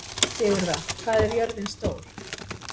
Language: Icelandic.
Sigurða, hvað er jörðin stór?